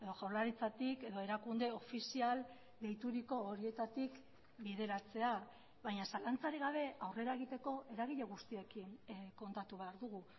jaurlaritzatik edo erakunde ofizial deituriko horietatik bideratzea baina zalantzarik gabe aurrera egiteko eragile guztiekin kontatu behar dugu